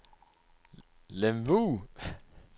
Lemvug